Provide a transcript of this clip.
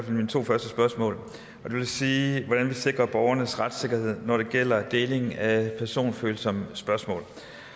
mine to første spørgsmål i vil sige hvordan vi sikrer borgernes retssikkerhed når det gælder deling af personfølsomme spørgsmål